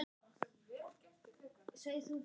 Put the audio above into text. Mega veikir búa þar?